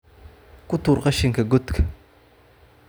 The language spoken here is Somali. Ku tuur qashinka godka